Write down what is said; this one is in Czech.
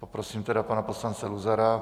Poprosím tedy pana poslance Luzara.